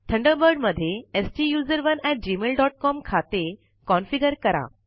Thunderbird मध्ये STUSERONEgmailcom खाते configure करा